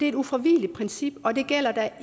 et ufravigeligt princip og det gælder da